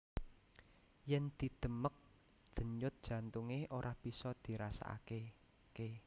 Yèn didemèk denyut jantungé ora bisa dirasakaké